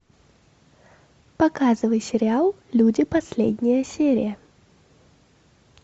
показывай сериал люди последняя серия